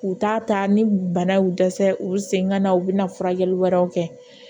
K'u t'a ta ni bana y'u dɛsɛ u sen ka na u bɛna furakɛli wɛrɛw kɛ